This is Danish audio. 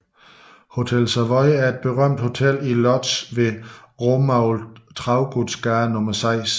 Hotel Savoy er et berømt hotel i Łódź ved Romuald Traugutts gade 6